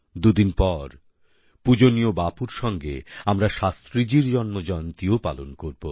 দুদিন পর পূজনীয় বাপুর সঙ্গে আমরা শাস্ত্রীজির জন্মজয়ন্তী ও পালন করব